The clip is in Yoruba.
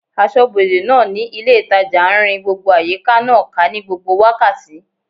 Asọ́bodè náà ní ilé ìtajà n rin gbogbo àyíká náà ká ní gbogbo wákàtí